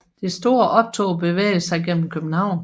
Det store optog bevæger sig gennem København